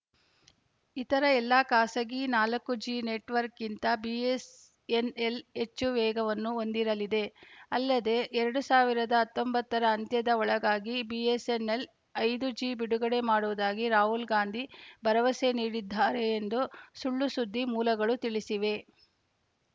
ಇತರ ಎಲ್ಲಾ ಖಾಸಗಿ ನಾಲ್ಕು ಜಿ ನೆಟ್‌ವರ್ಕ್ಗಿಂತ ಬಿಎಸ್‌ಎನ್‌ಎಲ್‌ ಹೆಚ್ಚು ವೇಗವನ್ನು ಹೊಂದಿರಲಿದೆ ಅಲ್ಲದೇ ಎರಡ್ ಸಾವಿರದ ಹತ್ತೊಂಬತ್ತ ರ ಅಂತ್ಯದ ಒಳಗಾಗಿ ಬಿಎಸ್‌ಎನ್‌ಎಲ್‌ ಐದು ಜಿ ಬಿಡುಗಡೆ ಮಾಡುವುದಾಗಿ ರಾಹುಲ್‌ ಗಾಂಧಿ ಭರವಸೆ ನೀಡಿದ್ದಾರೆ ಎಂದು ಸುಳ್‌ಸುದ್ದಿ ಮೂಲಗಳು ತಿಳಿಸಿವೆ